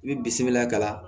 I bɛ bisimila ka